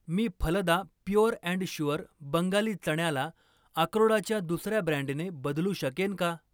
मी फलदा pure and sure Bengali चण्याला अक्रोडाच्या दुसर्या ब्रँडने बदलू शकेन का?